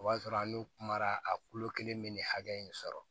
O b'a sɔrɔ an n'u kumara a kulo kelen bɛ nin hakɛ in sɔrɔ